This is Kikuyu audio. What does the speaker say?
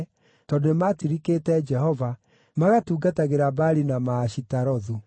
tondũ nĩmatirikĩte Jehova, magatungatagĩra Baali na Maashitarothu.